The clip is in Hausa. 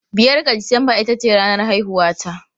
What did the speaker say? Biyar ga Disamba ita ce ranar haihuwata.